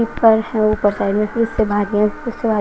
ऊपर हैं ऊपर साइड मे --